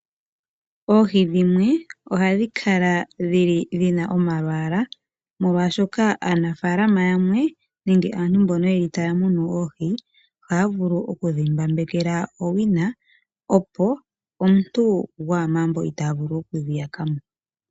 Oohi dhimwe ohadhi kala dhili dhina omalwaala molwaashoka aanafaalama yamwe nenge aantu mbono yeli taa munu oohi, ohaya vulu okudhi mbambekela owina opo omuntu gwamaambo itaa vulu okudhi yaka mo.